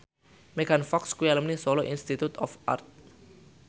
Megan Fox kuwi alumni Solo Institute of Art